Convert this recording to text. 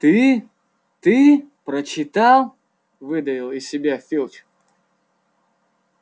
ты ты прочитал выдавил из себя филч